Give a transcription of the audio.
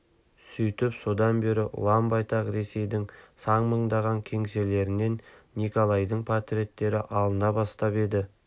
сөйтіп содан бері ұлан-байтақ ресейдің сан мыңдаған кеңселерінен николайдың портреттері алына бастап еді